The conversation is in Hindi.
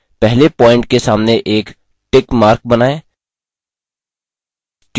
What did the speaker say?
पहले प्वॉइंट के सामने एक tick mark बनाएँ